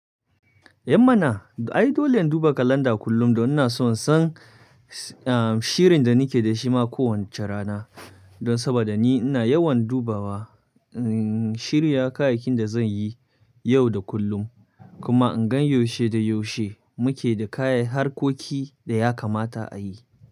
Eh mana, ai dole in duba kalanda kullum don ina so in san shirin da nake da shi ma kowace rana. Don saboda ni ina yawan dubawa, in shirya kayayyakin da zan yi yau da kullum. Kuma in gan yaushe da yaushe muke da kayan harkoki da ya kamata a yi.